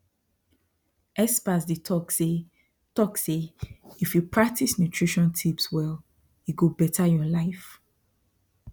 experts dey talk say talk say if you practice nutrition tips well e go better your life